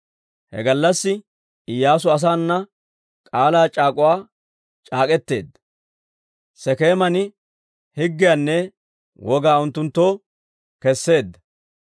He gallassi Iyyaasu asaana k'aalaa c'aak'uwaa c'aak'k'eteedda; Sekeeman higgiyaanne wogaa unttunttoo keseedda.